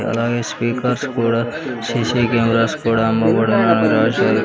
అలాగే స్పీకర్స్ కూడా CC cameras కూడా అమ్మబడును అని రాశారు.